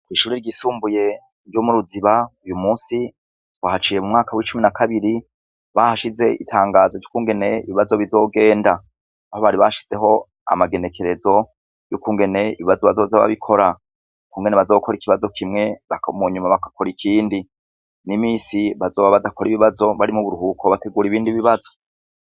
Ishure ryisumbuye ryo mu Ruziba, uyu munsi twahaciye mu mwaka w'icumi na kabiri, bahashize itangazo ry'ukungene ibibazo bizogenda. Aho bari bashizeho amagenekerezo, y'ukungene ibibazo bazoza barabikora. Ukungene bazokora ikibazo kimwe, mu nyuma bagakora ikindi. N'iminsi bazoba badakora ibibazo bari mu buruhuko bategura ibindi bibazo.